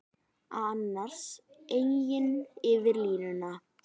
Annars eigin yfir línuna.